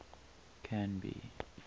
canby